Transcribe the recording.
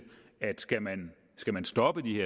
at skal man skal man stoppe de